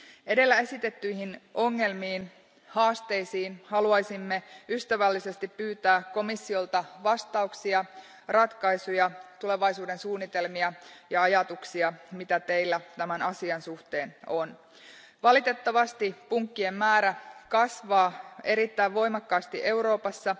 Edellä esitettyihin ongelmiin, haasteisiin, haluaisimme ystävällisesti pyytää komissiolta vastauksia, ratkaisuja, tulevaisuudensuunnitelmia ja ajatuksia, mitä teillä tämän asian suhteen on. Valitettavasti punkkien määrä kasvaa erittäin voimakkaasti Euroopassa